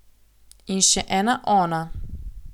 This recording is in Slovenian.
In še ena Ona.